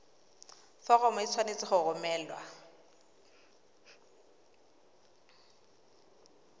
foromo e tshwanetse go romelwa